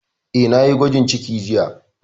Eh, na yi gwajin ciki jiya